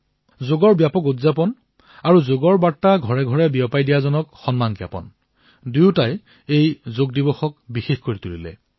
যোগৰ ব্যাপক উদযাপন আৰু যোগৰ বাৰ্তা ঘৰেঘৰে প্ৰেৰণ কৰাসকলক সন্মান প্ৰদান দুয়োৱে এইবাৰৰ যোগ দিৱসক বিশেষ কৰি তুলিলে